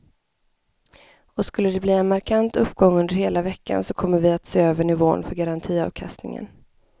Och skulle de bli en markant uppgång under hela veckan så kommer vi att se över nivån för garantiavkastningen.